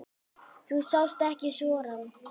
Þú sást ekki sorann.